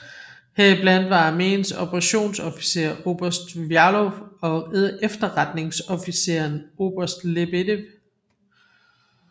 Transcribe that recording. Heriblandt var armeens operationsofficer oberst Vjalov og efterretningsofficeren oberst Lebedev